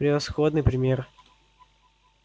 превосходный пример